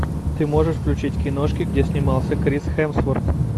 ты можешь включить киношки где снимался крис хемсворт